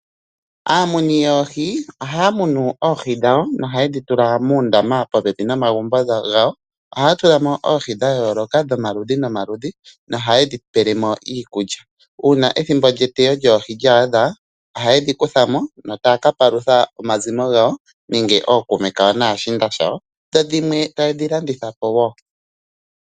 Aamuni yoohi ohaya munu oohi dhawo nohaye dhi tula muundama popepi nomagumbo gawo. Ohaya tula mo oohi dhayooloka dhomaludhi nomaludhi nohaye dhipele mo iikulya. Uuna ethimbo lyetewo lyoohi lyaadha ohaye dhikutha mo, taya kapalutha omazimo gawo, nenge ookuume kawo naashiinda shawo, dho dhimwe taye dhilanditha po wo.